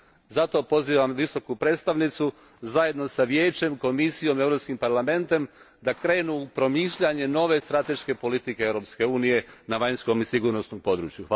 Zato pozivam Visoku predstavnicu zajedno s Vijećem, Komisijom, Europskim parlamentom, da krenu u promišljanje nove strateške politike Europske unije na vanjskom i sigurnosnom području.